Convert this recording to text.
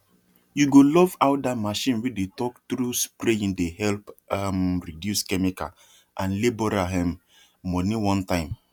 you go love how that machine wey dey talk true spraying dey help um reduce chemical and labourer um money one time